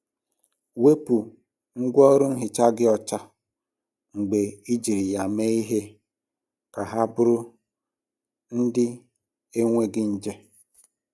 Wepu ngwaọrụ nhicha gị ọcha mgbe ejiri ya mee ihe ka ha bụrụ ndị na-enweghị nje.